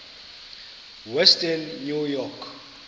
western new york